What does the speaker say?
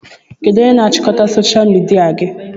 Kedụ onye na-achịkọta soshal midia gị?